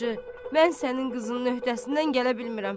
Hacı, mən sənin qızının öhdəsindən gələ bilmirəm.